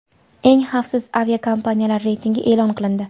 Eng xavfsiz aviakompaniyalar reytingi e’lon qilindi.